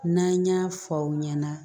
N'an y'a fɔ aw ɲɛna